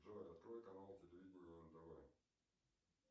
джой открой канал телевидения нтв